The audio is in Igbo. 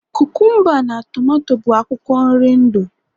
kukumba na tomato bụ akwụkwọ nri ndu